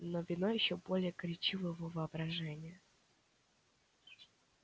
но вино ещё более горячило его воображение